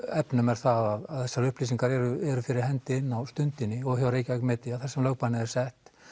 efnum er það að þessar upplýsingar eru fyrir hendi inni á Stundinni og Reykjavík Media þar sem lögbannið var sett